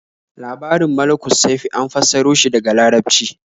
Labarin Malukussaifi an fassaro shi daga Larabci.